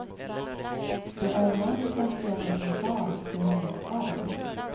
Det är han som sedan blir far till hennes barn.